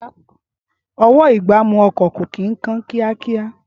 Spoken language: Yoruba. Ọwọ́-ìgbámú ọkọ̀ kò kí ń kán ní kíákíá